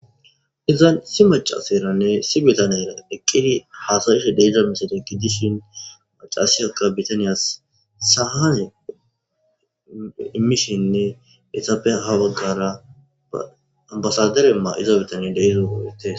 iza si macaseranne si bitaniyayra deqqidi haasayishe deeza miside gidishin macasiyakka bitaniyas sahae imishinne etape ha waggara ambasaderemma iza bitaniya deizo purites